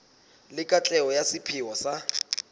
le katleho ya sepheo sa